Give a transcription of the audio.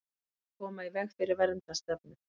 Vilja koma í veg fyrir verndarstefnu